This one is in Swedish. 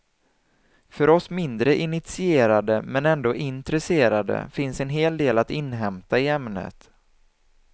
För oss mindre initierade men ändå intresserade finns en hel del att inhämta i ämnet.